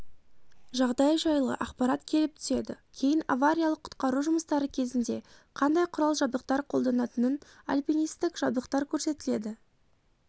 жағдай жайлы ақпарат келіп түседі кейін авариялық-құтқару жұмыстары кезінде қандай құрал-жабдықтар қолданатынын альпинистік жабдықтар көрсетіледі